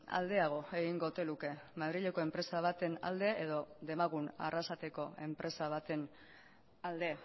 aldeago egingo ote luke madrileko enpresa baten alde edo demagun arrasateko enpresa baten alde